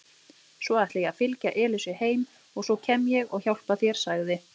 Ég ætla að fylgja Elísu heim og svo kem ég og hjálpa þér sagði